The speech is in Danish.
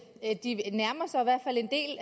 er rigtigt